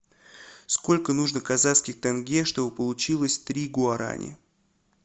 сколько нужно казахских тенге чтобы получилось три гуарани